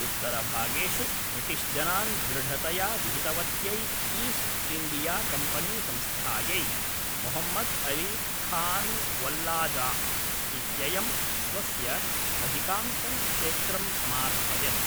उत्तरभागेषु ब्रिटिश्जनान् दृढतया विहितवत्यै ईस्ट् इण्डियाकम्पनीसंस्थायै, मुहम्मद्‌ अली खान्वल्लाजाह् इत्ययं स्वस्य अधिकांशं क्षेत्रं समार्पयत्।